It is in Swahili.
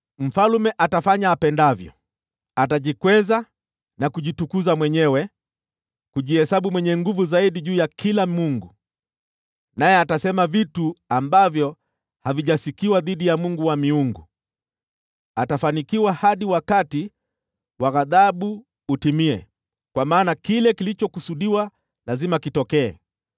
“Mfalme atafanya apendavyo. Atajikweza na kujitukuza juu ya kila mungu, naye atasema mambo ambayo hayajasikiwa dhidi ya Mungu wa miungu. Atafanikiwa hadi wakati wa ghadhabu utimie, kwa maana kile kilichokusudiwa lazima kitokee.